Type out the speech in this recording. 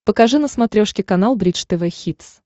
покажи на смотрешке канал бридж тв хитс